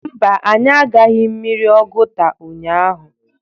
Mba, anyị agaghị mmiri Oguta ụhyaahụ.